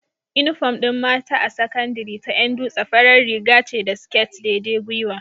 Inufom din mata a sakandari ta Yan dutse farar Riga ce da sket daidai gyiwa